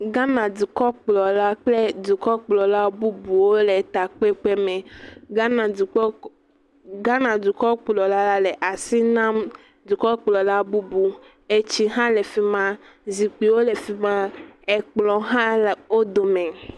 Ghana dukɔkplɔla kple dukɔkplɔla bubuwo le ta kpekpe me. Ghana dukɔkplɔ le asi nam dukɔkplɔla bubu. etsi hã le fima, zikpuiwo le fima. Ekplɔ hã le wodo me.